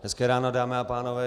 Hezké ráno, dámy a pánové.